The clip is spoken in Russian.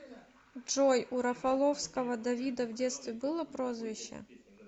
джой у рафаловского давида в детстве было прозвище